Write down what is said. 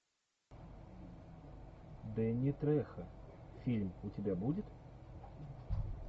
дэнни трехо фильм у тебя будет